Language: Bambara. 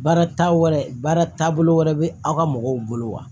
Baara taa wɛrɛ baara taabolo wɛrɛ bɛ aw ka mɔgɔw bolo wa